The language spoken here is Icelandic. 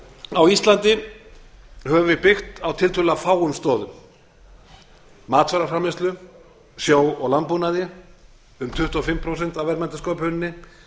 á íslandi höfum við byggt á tiltölulega fáum stoðum matvælaframleiðslu sjó og landbúnaði um tuttugu og fimm prósent af verðmætasköpuninni